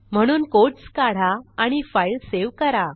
म्हणून कोट्स काढा आणि फाईल सेव्ह करा